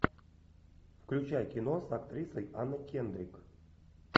включай кино с актрисой анной кендрик